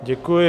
Děkuji.